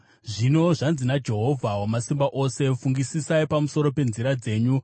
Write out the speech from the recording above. Zvino zvanzi naJehovha Wamasimba Ose: “Fungisisai pamusoro penzira dzenyu.